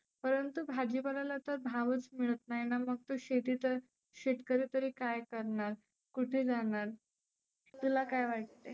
परंतु भाजी पाल्याला तर भावच मिळत नाहीना मग तो शेतीत शेतकरी तरी काय करणार? कुठे जाणार? तुला काय वाटते?